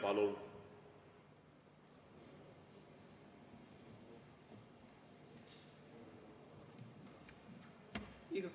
Palun!